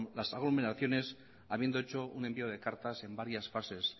las aglomeraciones habiendo hecho un envío de cartas en varias fases